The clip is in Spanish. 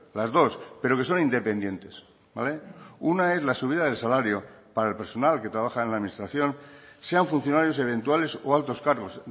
las dos pero que son independientes una es la subida del salario para el personal que trabaja en la administración sean funcionarios eventuales o altos cargos